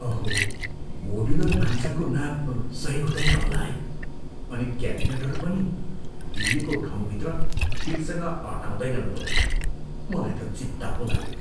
अहो, मोड्युलर भान्साको नाप सही हुँदैन होला है, अनि क्याबिनेटहरू पनि दिइएको ठाउँभित्र ठिकसँग अँटाउदैनन् होला। मलाई त चिन्ता पो लाग्यो।